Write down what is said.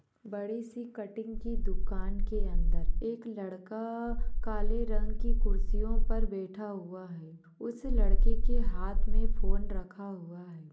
बडीसी इस कटिंग की दुकान के अंदर एक लड़का काली रंग की कुर्सियों पर बैठा हुआ है उस लड़के के हाथ मे फोन रखा हुआ है।